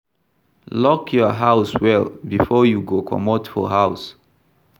Lock your house well before you go comot for house